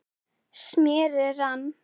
smérið rann